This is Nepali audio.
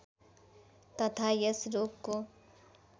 तथा यस रोगको